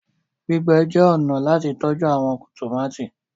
Gbígbé jé ọnà láti tọjú àwọn tomati.